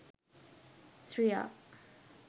sriya